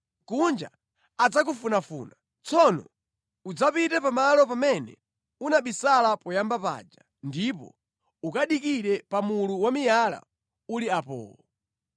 Mkuja adzakufunafuna. Tsono udzapite pamalo pamene unabisala poyamba paja ndipo ukadikire pa mulu wa miyala uli apowo.